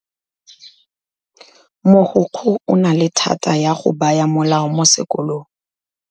Mogokgo o na le thata ya go baya molao mo sekolong.